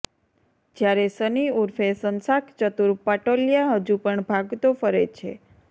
જયારે સન્ની ઉર્ફે શંશાક ચતુર પટોલીયા હજુ પણ ભાગતો ફરે છે